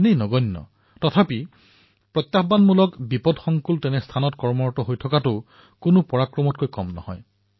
এনে প্ৰতিকূল পৰিস্থিতিত এনে প্ৰত্যাহ্বানমূলক পৰিবেশত থকাটোও কোনো পৰাক্ৰমতকৈ কম নহয়